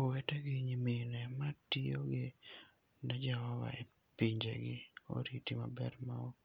Owete gi nyimine ma tiyo ne Jehova e pinjegi oriti maber ma ok